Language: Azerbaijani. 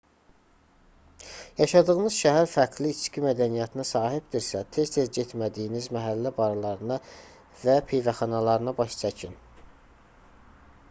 yaşadığınız şəhər fərqli içki mədəniyyətinə sahibdirsə tez-tez getmədiyiniz məhəllə barlarına və pivəxanalarına baş çəkin